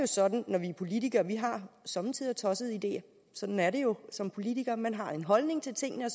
sådan at vi politikere somme tider har tossede ideer sådan er det jo som politiker man har en holdning til tingene og